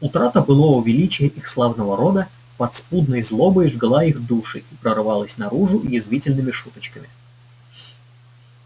утрата былого величия их славного рода подспудной злобой жгла их души и прорывалась наружу язвительными шуточками